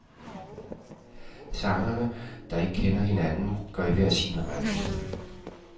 Sangerne, der ikke kender hinanden, går i hver sin retning.